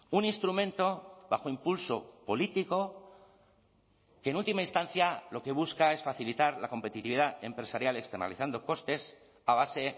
un instrumento bajo impulso político que en última instancia lo que busca es facilitar la competitividad empresarial externalizando costes a base